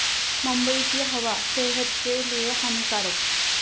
मुंबईची हवा सेहत के लिए हानीकारक!